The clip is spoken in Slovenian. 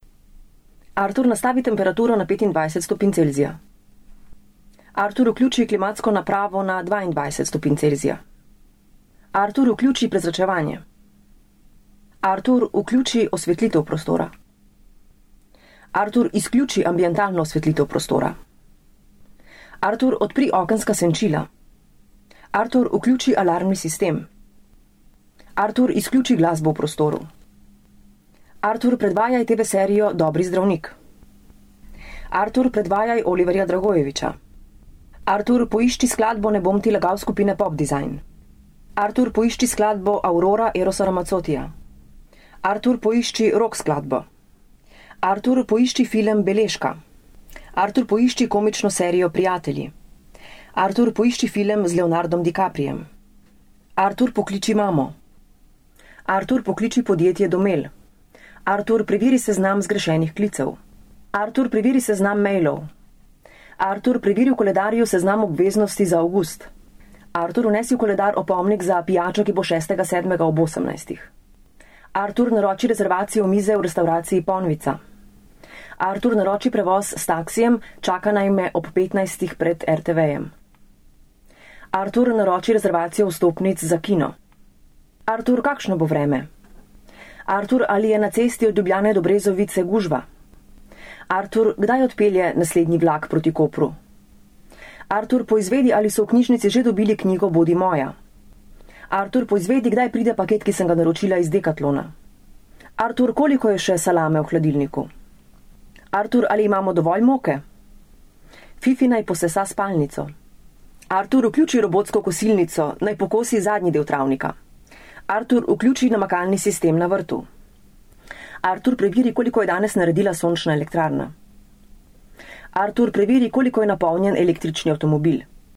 Artur, nastavi temperaturo na petindvajset stopinj Celzija. Artur, vključi klimatsko napravo na dvaindvajset stopinj Celzija. Artur, vključi prezračevanje. Artur, vključi osvetlitev prostora. Artur, izključi ambientalno osvetlitev prostora. Artur, odpri okenska senčila. Artur, vključi alarmni sistem. Artur, izključi glasbo v prostoru. Artur, predvajaj TV-serijo Dobri zdravnik. Artur, predvajaj Oliverja Dragojevića. Artur, poišči skladbo Ne bom ti lagal skupine Pop design. Artur, poišči skladbo Aurora Erosa Ramazzottija. Artur, poišči rock skladbo. Artur, poišči film Beležka. Artur, poišči komično serijo Prijatelji. Artur, poišči film z Leonardom DiCapriem. Artur, pokliči imamo. Artur, pokliči podjetje Domel. Artur, preveri seznam zgrešenih klicev. Artur, preveri seznam mailov. Artur, preveri v koledarju seznam obveznosti za avgust. Artur, vnesi v koledar opomnik za pijačo, ki bo šestega sedmega ob osemnajstih. Artur, naroči rezervacijo mize v restavraciji Ponvica. Artur, naroči prevoz s taksijem, čaka naj me ob petnajstih pred RTV-jem. Artur, naroči rezervacijo vstopnic za kino. Artur, kakšno bo vreme? Artur, ali je na cesti od Ljubljane do Brezovice gužva? Artur, kdaj odpelje naslednji vlak proti Kopru? Artur, poizvedi, ali so v knjižnici že dobili knjigo Bodi moja. Artur, poizvedi, kdaj pride paket, ki sem ga naročila iz Decathlona. Artur, koliko je še salame v hladilniku? Artur, ali imamo dovolj moke? Fifi naj posesa spalnico. Artur, vključi robotsko kosilnico, naj pokosi zadnji del travnika. Artur, vključi namakalni sistem na vrtu. Artur, preveri, koliko je danes naredila sončna elektrarna. Artur, preveri, koliko je napolnjen električni avtomobil.